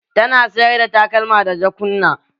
Tana sayar da takalma da jakunna.